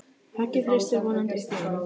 Höggið hristir vonandi upp í honum.